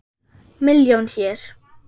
Milljón hér.